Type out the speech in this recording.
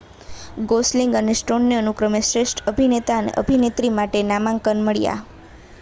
Gosling અને સ્ટોનને અનુક્રમે શ્રેષ્ઠ અભિનેતા અને અભિનેત્રી માટે નામાંકન મળ્યાં